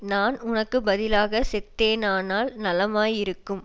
நான் உனக்குப்பதிலாகச் செத்தேனானால் நலமாயிருக்கும்